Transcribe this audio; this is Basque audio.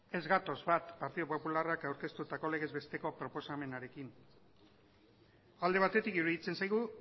ez gatoz bat partidu popularrak aurkeztutako legezbesteko proposamenarekin alde batetik iruditzen zaigu